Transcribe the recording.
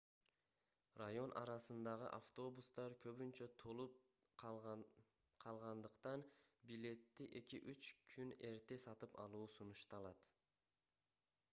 район арасындагы автобустар көбүнчө толуп калгандыктан билетти эки-үч күн эрте сатып алуу сунушталат